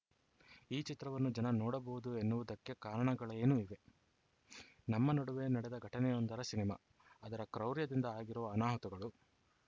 ಈ ಚಿತ್ರವನ್ನು ಜನ ನೋಡಬಹುದು ಎನ್ನುವುದಕ್ಕೆ ಕಾರಣಗಳೇನು ಇವೆ ನಮ್ಮ ನಡುವೆ ನಡೆದ ಘಟನೆಯೊಂದರ ಸಿನಿಮಾ ಅದರ ಕ್ರೌರ್ಯದಿಂದ ಆಗಿರುವ ಅನಾಹುತಗಳು